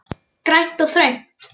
Grænt og þröngt.